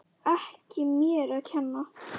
Ekki mér að kenna!